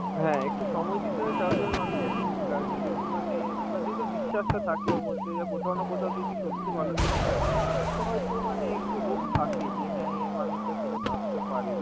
হ্যাঁ একটু সময় দিতে হয় তাহলে ওই মানুষটা ঠিক ফিরে আসবে, যদি মানে বা যদি তোর বিশ্বাসটা ওরb মধ্যে যে কোথাও না কোথাও যদি সত্যি ভালোবেসে থাকিস, তো হয়তো মানে একটু hope থাকে যে হ্যাঁ, এই মানুষটা ফেরত আসতে পারে.